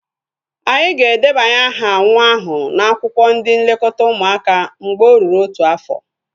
Anyị ga-edebanye aha nwa ahu n'akwụkwọ ndị nlekọta ụmụaka mgbe o ruru otu afọ